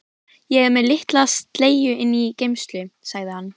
Ég er með litla sleggju inni í geymslu, sagði hann.